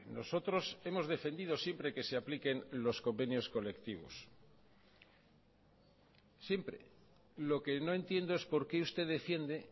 nosotros hemos defendido siempre que se apliquen los convenios colectivos siempre lo que no entiendo es por qué usted defiende